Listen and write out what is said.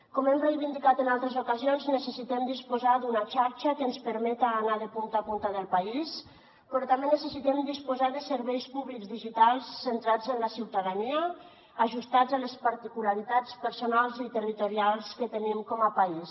com hem reivindicat en altres ocasions necessitem disposar d’una xarxa que ens permeta anar de punta a punta del país però també necessitem disposar de serveis públics digitals centrats en la ciutadania ajustats a les particularitats personals i territorials que tenim com a país